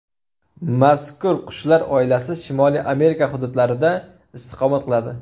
Mazkur qushlar oilasi Shimoliy Amerika hududlarida istiqomat qiladi.